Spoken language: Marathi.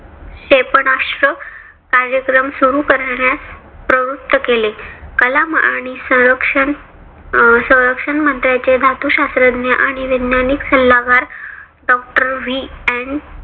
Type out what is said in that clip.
क्षेपणास्त्रे कार्यक्रम सुरु करण्यास प्रवृत्त केले. कलाम आणि संरक्षण अं संरक्षण मंत्र्याचे धातू शास्त्रज्ञ आणि वैज्ञानिक सल्लागार doctorVN